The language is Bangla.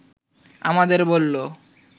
আমাদের বলল